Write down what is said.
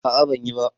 A'a ban yi ba.